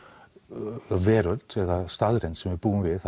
veröld eða staðreynd sem við búum við